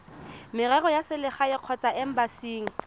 merero ya selegae kgotsa embasing